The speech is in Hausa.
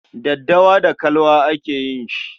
Daddawa da kalwa ake yi shi.